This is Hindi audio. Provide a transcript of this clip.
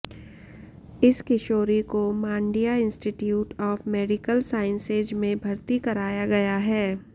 इस किशोरी को Mandya institute of medical sciences में भर्ती कराया गया है